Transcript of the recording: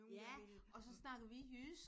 Ja! Og så snakkede vi jysk